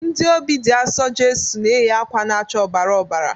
Ndị Obị dị Asọ Jeso na-eyi akwa na-acha ọbara ọbara.